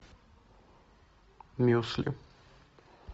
мюсли